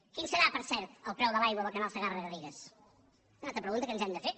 quin serà per cert el preu de l’aigua del canal segarragarrigues és una altra pregunta que ens hem de fer